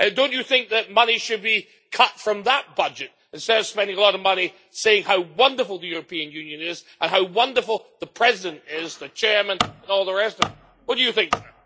Do you not think that money should be cut from that budget instead of spending a lot of money saying how wonderful the European Union is and how wonderful the President, the Chair and all the rest of them are? What do you think, sir?